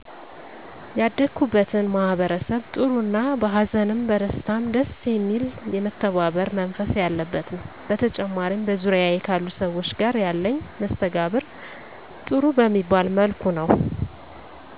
ያደኩበትን ማህበረሰብ ጥሩ እና በ ሀዘንም በደስታም ደስ የሚል የመተባበር መንፈስ ያለበት ነዉ። በተጨማሪም በዙሪያየ ካሉ ሰዎች ጋር ያለኝ መስተጋብር ጥሩ በሚባል መልኩ ነዉ።